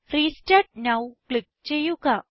restart now click ചെയ്യുക